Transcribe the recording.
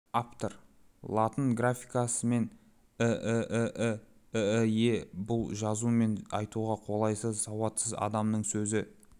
аптыр латын графикасымен іііі ііе бұл жазу мен айтуға қолайсыз сауатсыз адамның сөзі